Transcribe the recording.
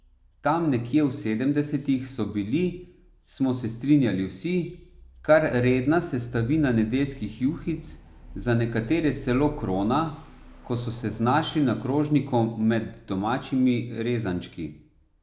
Tam nekje v sedemdesetih so bili, smo se strinjali vsi, kar redna sestavina nedeljskih juhic, za nekatere celo krona, ko so se znašli na krožniku med domačimi rezančki.